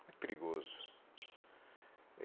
Muito perigoso.